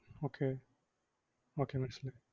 okay